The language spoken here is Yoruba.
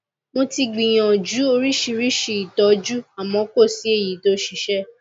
mo ti gbìyànjú oríṣiríṣi ìtọjú àmọ kò sí èyí tó ṣiṣẹ